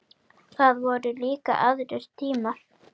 Það voru líka aðrir tímar.